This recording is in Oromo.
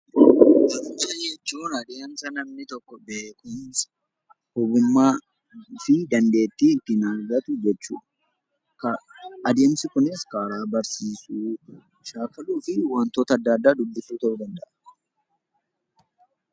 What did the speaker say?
Barumsa jechuun adeemsa namni tokko beekumsa, ogummaa fi dandeettii ittiin argatu jechuudha. Adeemsi kunis karaa barsiisuu, shaakaluu fi waantota adda addaa dubbisuu ta'uu danda'a.